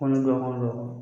Kɔn dɔn don